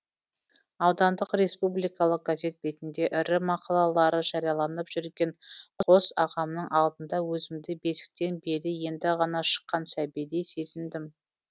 аудандық республикалық газет бетінде ірі мақалалары жарияланып жүрген қос ағамның алдында өзімді бесіктен белі енді ғана шыққан сәбидей сезіндім